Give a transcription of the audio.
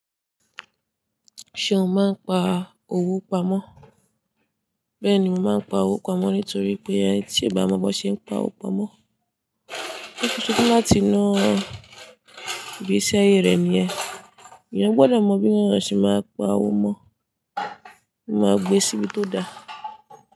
Ṣe o máa ń pa owó pamọ́? Bẹ́ẹ̀ni mo máa ń pa owó pamọ́ nítorí pé ẹni tí kò bá mọ bí wọ́n ṣe ń pa owó pamọ́, ó ṣetan láti na ìgbésẹ́ ayé rẹ̀ nìyẹn. Èèyàn gbọ́dọ̀ mọ bí wọn ṣe máa ń pa owó mọ́, ó máa gbé síbi tó da.